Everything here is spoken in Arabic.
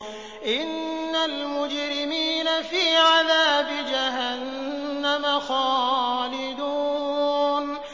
إِنَّ الْمُجْرِمِينَ فِي عَذَابِ جَهَنَّمَ خَالِدُونَ